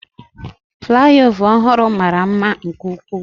Flyover ọhụrụ mara mma nke ukwuu.